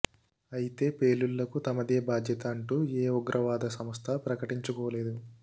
అయితే పేలుళ్లకు తమదే బాధ్యత అంటూ ఏ ఉగ్రవాద సంస్థా ప్రకటించుకోలేదు